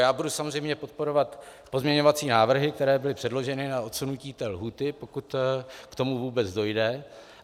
Já budu samozřejmě podporovat pozměňovací návrhy, které byly předneseny, a odsunutí té lhůty, pokud k tomu vůbec dojde.